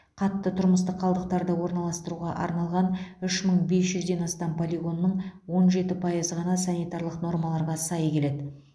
қатты тұрмыстық қалдықтарды орналастыруға арналған үш мың бес жүзден астам полигонның он жеті пайызы ғана санитарлық нормаларға сай келеді